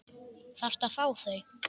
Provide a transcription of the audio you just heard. Þarftu að fá þau?